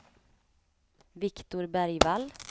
Viktor Bergvall